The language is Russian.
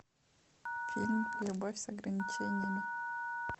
фильм любовь с ограничениями